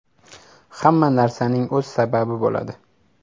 Hamma narsaning o‘z sababi bo‘ladi.